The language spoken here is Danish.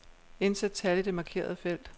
Indsæt tal i det markerede felt.